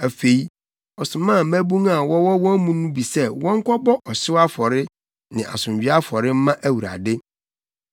Afei, ɔsomaa mmabun a wɔwɔ wɔn mu no bi sɛ wɔnkɔbɔ ɔhyew afɔre ne asomdwoe afɔre mma Awurade.